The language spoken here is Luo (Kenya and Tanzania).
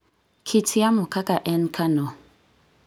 kit yamo kaka e Kanoh